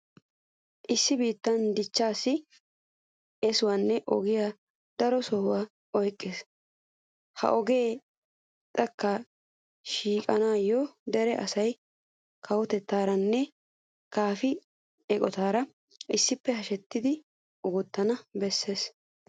Issi biittaa dichchaassi eesoyanawu ogee daro sohuwa oyqqees. Ha ogiya xekkaa xoqqissanawu dere asay kawotettaaranne kaafiya eqotatuura issippe hashetidi oottana bessees.